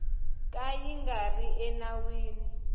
ka yi nga ri enawini